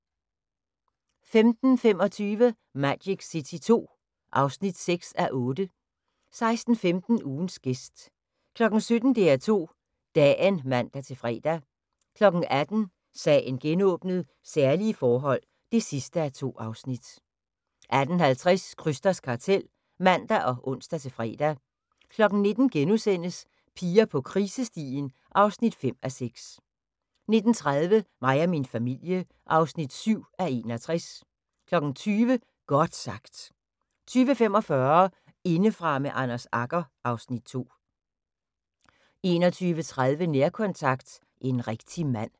15:25: Magic City II (6:8) 16:15: Ugens gæst 17:00: DR2 Dagen (man-fre) 18:00: Sagen genåbnet: Særlige forhold (2:2) 18:50: Krysters Kartel (man og ons-fre) 19:00: Piger på krisestien (5:6)* 19:30: Mig og min familie (7:61) 20:00: Godt sagt 20:45: Indefra med Anders Agger (Afs. 2) 21:30: Nærkontakt – En rigtig mand